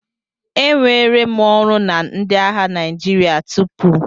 Enwere m ọrụ na ndị agha Naijiria tupu.